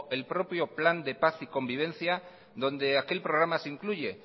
el propio plan de paz y convivencia donde aquel programa se incluye